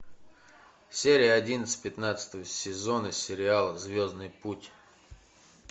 серия одиннадцать пятнадцатого сезона сериала звездный путь